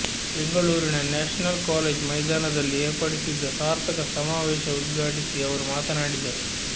ಬೆಂಗಳೂರಿನ national college ಮೈದಾನದಲ್ಲಿ ಏರ್ಪಡಿಸಿದ್ದ ಸಾರ್ಥಕ ಸಮಾವೇಶ ಉದ್ಘಾಟಿಸಿ ಅವರು ಮಾತನಾಡಿದರು